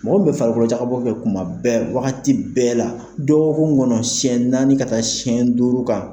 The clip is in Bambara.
Mɔgɔ min bɛ farikolo jakabɔ kɛ kuma bɛɛ wagati bɛɛ la dɔgɔkun kɔnɔ sɛyɛn naani ka taa sɛ duuru kan.